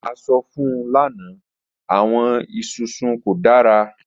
A sọ fun u lana, awọn isusu ko dara.